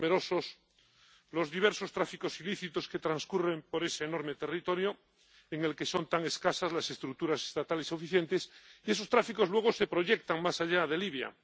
Son numerosos los diversos tráficos ilícitos que transcurren por ese enorme territorio, en el que son tan escasas las estructuras estatales eficientes, y esos tráficos luego se proyectan más allá de Libia.